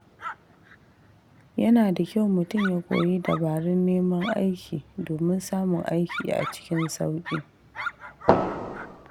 Yana da kyau mutum ya koyi dabarun neman aiki domin samun aikin a cikin sauƙi.